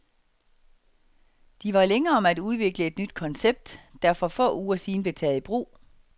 De var længe om at udvikle et nyt koncept, der for få uger siden blev taget i brug.